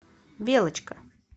белочка